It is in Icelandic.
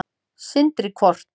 Sindri: Hvort?